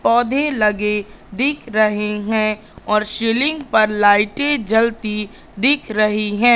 पौधे लगे दिख रहे हैं और सीलिंग पर लाइटें जलती दिख रही हैं।